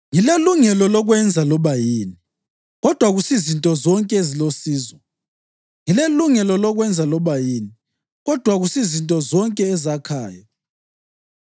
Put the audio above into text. “Ngilelungelo lokwenza loba yini,” kodwa akusizinto zonke ezilosizo. “Ngilelungelo lokwenza loba yini,” kodwa akusizinto zonke ezakhayo.